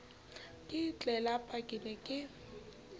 ka tlelapa ke ne ke